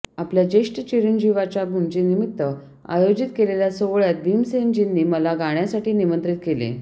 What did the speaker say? आपल्या ज्येष्ठ चिरंजिवांच्या मुंजीनिमित्त आयोजित केलेल्या सोहळ्यात भीमसेनजींनी मला गाण्यासाठी निमंत्रित केले